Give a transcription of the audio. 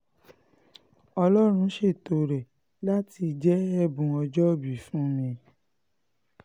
ọlọ́run ṣètò rẹ̀ láti jẹ́ ẹ̀bùn ọjọ́òbí fún mi